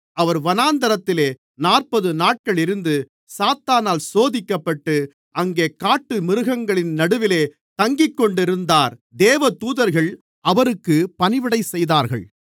அவர் வனாந்திரத்திலே நாற்பதுநாட்கள் இருந்து சாத்தானால் சோதிக்கப்பட்டு அங்கே காட்டுமிருகங்களின் நடுவிலே தங்கிக்கொண்டிருந்தார் தேவதூதர்கள் அவருக்குப் பணிவிடைசெய்தார்கள்